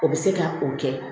O bɛ se ka o kɛ